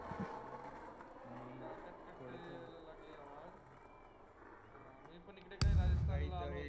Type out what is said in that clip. थोडं यायला लागली आवाज मी पण इकडे राजस्थान ला आलो होतो